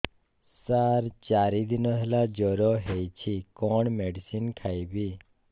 ସାର ଚାରି ଦିନ ହେଲା ଜ୍ଵର ହେଇଚି କଣ ମେଡିସିନ ଖାଇବି